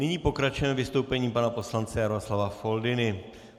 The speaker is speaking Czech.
Nyní pokračujeme vystoupením pana poslance Jaroslava Foldyny.